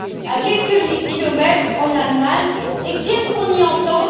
à quelques kilomètres d'ici, en Allemagne, et qu'est ce qu'on y entend?